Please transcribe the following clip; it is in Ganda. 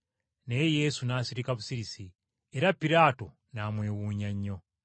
Naye Yesu n’asirika busirisi, era Piraato n’amwewuunya nnyo.